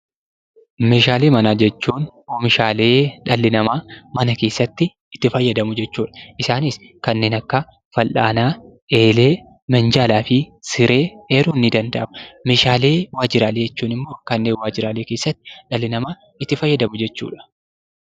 Meeshaalee manaa jechuun meeshaalee dhalli namaa mana keessatti itti fayyadamu jechuudha. Isaanis kanneen akka fal'aanaa, eelee, minjaalaa fi siree eeruun ni danda'ama. Meeshaalee waajjiraalee jechuun immoo kanneen waajjiraaleee keessatti dhalli namaa itti fayyadamu jechuudha.